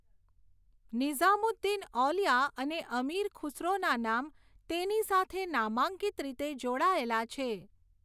નિઝામુદ્દીન ઔલિયા અને અમીર ખુસરોના નામ તેની સાથે નામાંકિત રીતે જોડાયેલા છે.